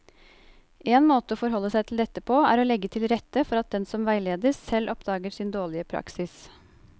En måte å forholde seg til dette på er å legge til rette for at den som veiledes, selv oppdager sin dårlige praksis.